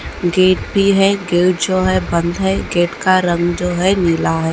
Gate भी हैं जो हैं बंद हैं गेट का रंग जो हैं नीला है।